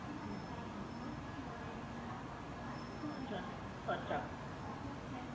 હમ અચ્છા અચ્છા, અચ્છા